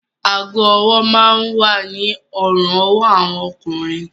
Aago-ọwọ́ máa ń wà ní ọrùn-ọwọ́ àwọn ọkùnrin